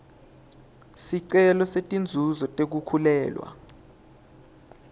sicelo setinzuzo tekukhulelwa